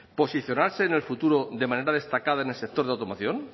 posicionarse en el futuro de manera destacada en el sector de automoción